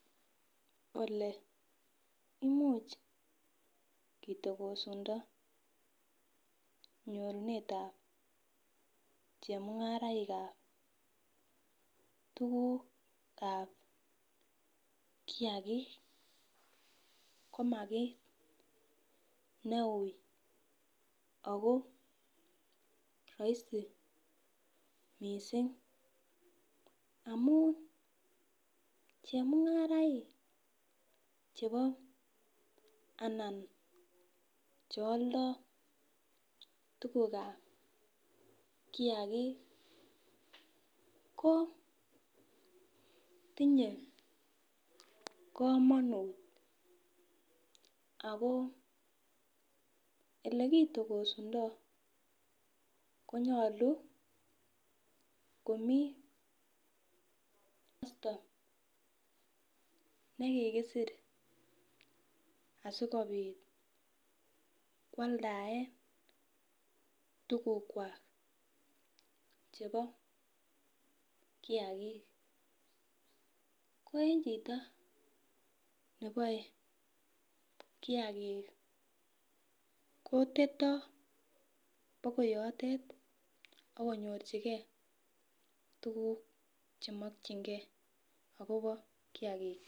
Ole imuch kitokosundo nyorunetab chemung'araikab tugugab kiagik ,koma kit neui akoo rahisi missing amun chemung'araik chebo anan chealdoo tugukab kiagik koo tinye kamonut akoo elekitokosundoo konyolu komii tekisto nekikisir asikobit kwaldaen tugukwak chebo kiagik ko en chito neboe kiagik kotetoo akoi yotet akonyorchike tuguk chemokyinge akobo kiagikyik.